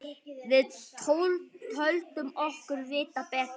Við töldum okkur vita betur.